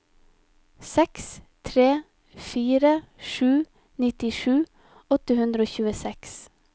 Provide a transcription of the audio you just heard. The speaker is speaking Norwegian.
seks tre fire sju nittisju åtte hundre og tjueseks